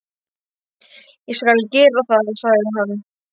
Ég skal gera það, sagði hann.